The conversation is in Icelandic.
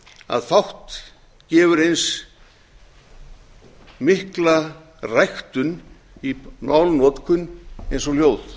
að fátt gefur eins mikla ræktun í málnotkun og ljóð